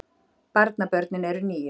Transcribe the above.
Barnabörnin eru níu